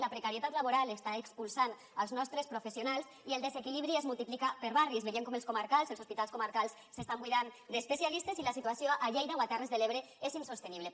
la precarietat laboral està expulsant els nostres professionals i el desequilibri es multiplica per barris veiem com els comarcals els hospitals comarcals s’estan buidant d’especialistes i la situació a lleida o a terres de l’ebre és insostenible